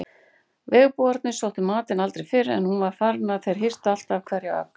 Bergbúarnir sóttu matinn aldrei fyrr en hún var farin en þeir hirtu alltaf hverja ögn.